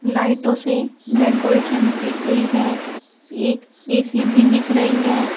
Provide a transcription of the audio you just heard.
लाइटों से डेकोरेशन की गई है एक ए_सी भी दिख रही है।